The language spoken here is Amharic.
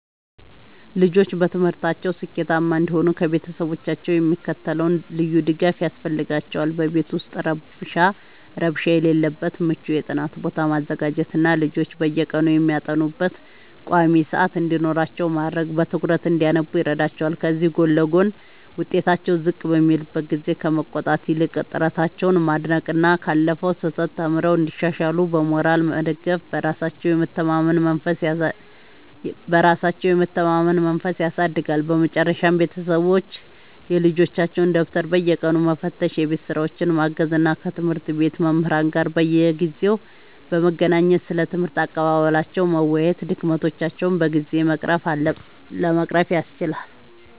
ልጆች በትምህርታቸው ስኬታማ እንዲሆኑ ከቤተሰቦቻቸው የሚከተለው ልዩ ድጋፍ ያስፈልጋቸዋል፦ በቤት ውስጥ ረብሻ የሌለበት ምቹ የጥናት ቦታ ማዘጋጀትና ልጆች በየቀኑ የሚያጠኑበት ቋሚ ሰዓት እንዲኖራቸው ማድረግ በትኩረት እንዲያነቡ ይረዳቸዋል። ከዚህ ጎን ለጎን፣ ውጤታቸው ዝቅ በሚልበት ጊዜ ከመቆጣት ይልቅ ጥረታቸውን ማድነቅና ካለፈው ስህተት ተምረው እንዲሻሻሉ በሞራል መደገፍ በራሳቸው የመተማመን መንፈስን ያሳድጋል። በመጨረሻም ቤተሰቦች የልጆቻቸውን ደብተር በየቀኑ መፈተሽ፣ የቤት ሥራቸውን ማገዝ እና ከትምህርት ቤት መምህራን ጋር በየጊዜው በመገናኘት ስለ ትምህርት አቀባበላቸው መወያየት ድክመቶቻቸውን በጊዜ ለመቅረፍ ያስችላል።